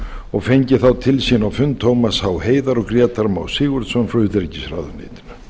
og fengið þá til sín á fund tómas h heiðar og grétar má sigurðsson frá utanríkisráðuneyti